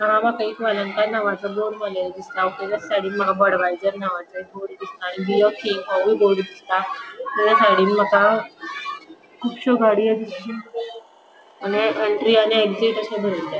हांगा माका एक वेलेन्का नावाचो बोर्ड मारलेलो दिसता तेचा साइडीन माका बडवायजर नावाचो एक बोर्ड दिसता तेचा साइडीन माका कुबश्यो गाड़ियों दिस आणि एंट्री आणि एक्सिट आसा बरेल्ले.